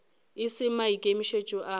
e se maikemišetšo a ka